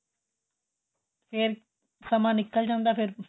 ਫ਼ੇਰ ਸਮਾਂ ਨਿੱਕਲ ਜਾਦਾ ਏ